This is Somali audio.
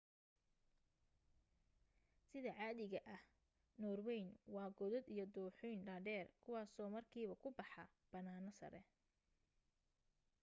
sida caadiga ka ah norwayn waa godad iyo dooxooyin dhaadheer kuwaasoo markiiba ku baxa bannaano sare